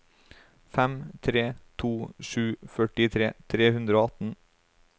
fem tre to sju førtitre tre hundre og atten